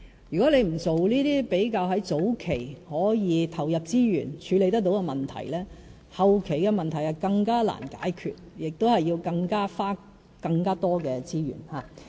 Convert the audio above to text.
如果不做這些比較在早期可以投入資源處理得到的問題，後期的問題就更難解決，亦要花更多資源。